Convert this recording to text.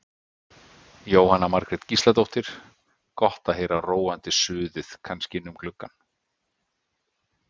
Jóhanna Margrét Gísladóttir: Gott að heyra róandi suðið kannski inn um gluggann?